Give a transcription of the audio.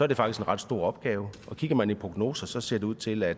det faktisk en ret stor opgave og kigger man i prognoser ser det ud til at